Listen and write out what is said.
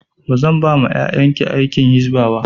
Zan ba wa yayan ki aiki a hisba